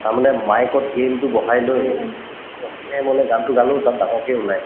তাৰমানে mic ত বহাই লৈ একদম গানতো গালো তাত নাই